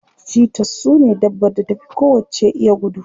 Cheaters sune dabbar da ta fi kowacce iya gudu.